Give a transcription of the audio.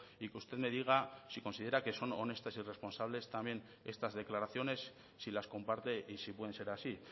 y que usted me diga si considera que son honestas y responsables también estas declaraciones si las comparte y si pueden ser así